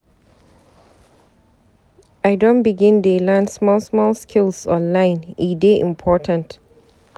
I don begin dey learn small small skills online, e dey important.